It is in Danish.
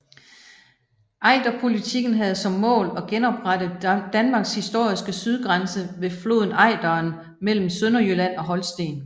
Ejderpolitikken havde som mål at genoprette Danmarks historiske sydgrænse ved floden Ejderen mellem Sønderjylland og Holsten